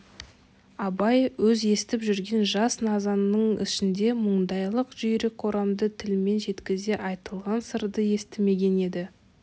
абай өз естіп жүрген жас назының ішінде мұндайлық жүйрік орамды тілмен жеткізе айтылған сырды естімеген еді